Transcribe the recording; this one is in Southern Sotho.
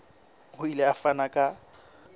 o ile a fana ka